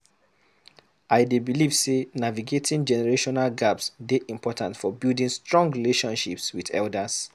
I dey believe say navigating generational gaps dey important for building strong relationships with elders.